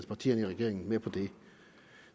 partierne i regeringen med på det